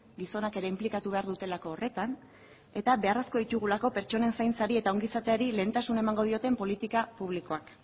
gizonak ere inplikatu behar dutelako horretan eta beharrezko ditugulako pertsonen zaintzari eta ongizateari lehentasun emango dioten politika publikoak